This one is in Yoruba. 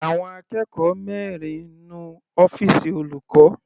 Àwọn akẹ́kọ̀ọ́ mẹrin nu ọ́fìsì olùkọ́.